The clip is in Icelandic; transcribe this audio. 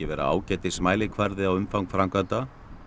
ágætis mælikvarði á umfang framkvæmda